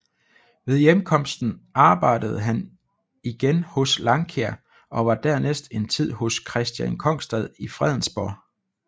Ved hjemkomsten arbejdede han igen hos Langkjær og var dernæst en tid hos Kristian Kongstad i Fredensborg